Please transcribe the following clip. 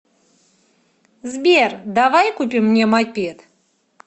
сбер давай купим мне мопед